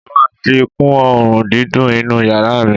Mo máa fi kún òórùn dídùn inú yàrá mi.